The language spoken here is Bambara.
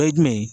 Dɔ ye jumɛn ye